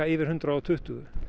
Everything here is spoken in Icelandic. yfir hundrað og tuttugu